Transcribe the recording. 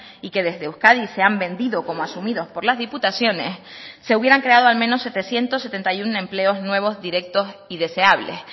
y que desde euskadi se han vendido como asumidos por las diputaciones se hubieran creado al menos setecientos setenta y uno empleos nuevos directos y deseables